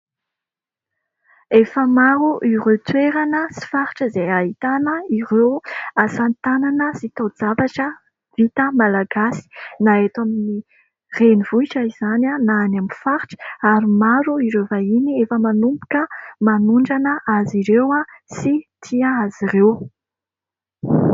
Efa maro ireo toerana sy faritra izay ahitana ireo asa tanana sy taozavatra vita malagasy ; na eto amin'ny renivohitra izany na any amin'ny faritra ary maro ireo vahiny efa manomboka manondrana azy ireo sy tia azy ireo.